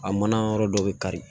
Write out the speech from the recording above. A mana yɔrɔ dɔ bɛ kari